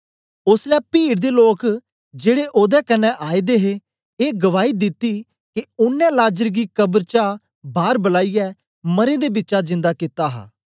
ओसलै पीड़ दे लोक जेड़े ओदे कन्ने आए दे हे ए गवाही दिती के ओनें लाजर गी कब्र चा बार बलाईयै मरें दा बिचा जिन्दा कित्ता हा